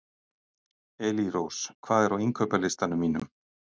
Elírós, hvað er á innkaupalistanum mínum?